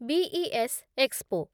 BES expo